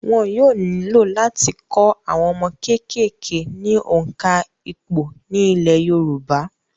Wọn yóò nílò láti kọ́ àwọn ọmọ kékèké ní òǹkà ìpò ní ilẹ̀ yorùbá